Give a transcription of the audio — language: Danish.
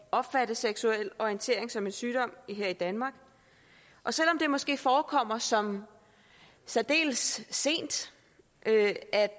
at opfatte seksuel orientering som en sygdom her i danmark og selv om det måske forekommer som særdeles sent at